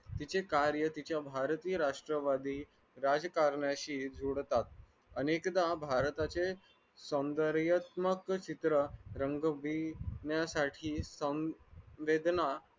तिचे कार्य तिच्या भारतीय राष्ट्रवादी राज्यकारणाशी जुळतात अनेकदा भारताचे सौंदयात्मक चित्र रंगविण्यासाठी